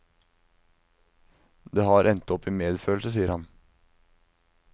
Det har endt opp i medfølelse, sier han.